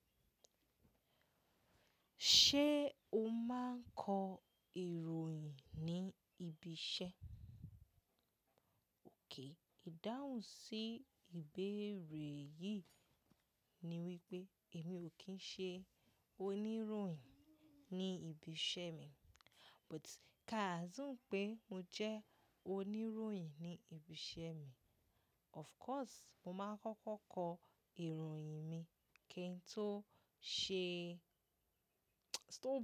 Ṣé o máa ń kọ ìròyìn ní ibi iṣẹ́? Ók, ìdáhùn sí ìbéèrè yìí ni wípé èmi ò kí ń ṣe oníròyìn ní ibi iṣẹ́ mi, but káàzùme pé mo jẹ́ oníròyìn ní ibi iṣẹ́ mi, of course mo máa ń kọ́kọ́ kọ ìròyìn mi kí ń tó ṣe.